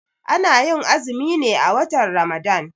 Ana yin azumi ne a watan Ramadan